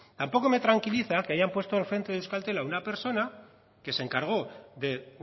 tampoco me tranquiliza que hayan puesto al frente de euskaltel a una persona que se encargó de